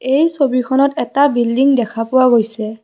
এই ছবিখনত এটা বিল্ডিং দেখা পোৱা গৈছে।